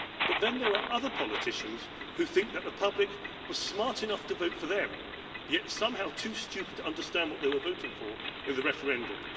But then there are other politicians who think that the public was smart enough to vote for them, yet somehow too stupid to understand what they were voting for in the referendum.